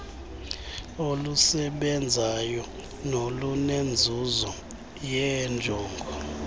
olusebenzayo nolunenzuzo yeenjongo